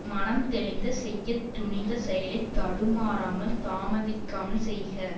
மனம் தெளிந்து செய்ய துணிந்த செயலை தடுமாறாமல் தாமதிக்காமல் செய்க